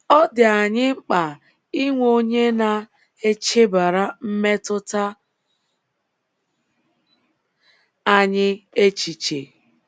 Ọ dị anyị mkpa inwe onye na - echebara mmetụta anyị echiche.